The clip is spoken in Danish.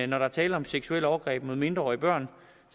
der er tale om seksuelle overgreb mod mindreårige børn